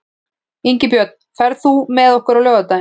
Ingibjörn, ferð þú með okkur á laugardaginn?